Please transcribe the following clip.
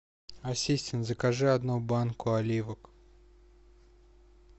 ассистент закажи одну банку оливок